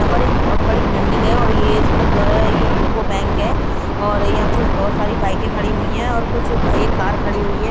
यहां पर एक बहुत बड़ी बिल्डिंग है और ये इसमें जो है ये युको बैंक है और यहां कुछ बहुत सारी बाइकें खड़ी हुई है और कुछ एक कार खड़ी हुई है ।